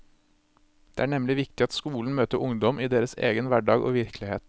Det er nemlig viktig at skolen møter ungdom i deres egen hverdag og virkelighet.